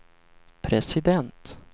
president